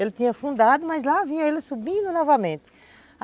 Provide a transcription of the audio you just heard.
Ele tinha afundado, mas lá vinha ele subindo novamente.